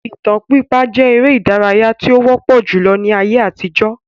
Ìtàn pípa jẹ èrè ìdárayá tí ó wọpọ julọ ní ayé àtijó